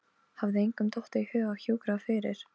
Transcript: Hafði engum dottið í hug að hjúkra fyrr?